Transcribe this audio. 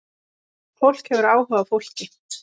Fólk hefur áhuga á fólki.